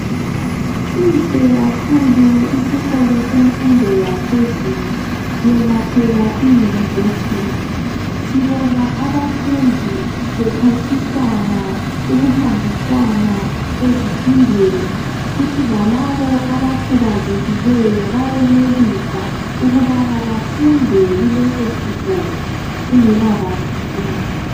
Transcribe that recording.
Sihle khakhulu isikolo semfundo yaphezulu, yona phela iYunivesithi. Sibona abafundi bephathisana ukuhambisana ezifundweni kuthi lalabo abakhubazekileyo bayenelisa ukuthi labo bafunde kuleso sikolo kungela badlululo.